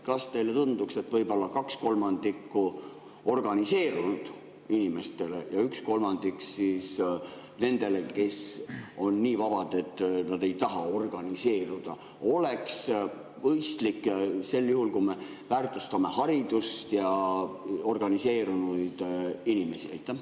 Kas teile ei tundu, et võib-olla kaks kolmandikku organiseerunud inimestele ja üks kolmandik siis nendele, kes on nii vabad, et nad ei taha organiseeruda, oleks mõistlik sel juhul, kui me väärtustame haridust ja organiseerunud inimesi?